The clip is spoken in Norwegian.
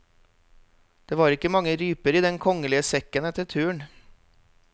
Det var ikke mange ryper i den kongelige sekken etter turen.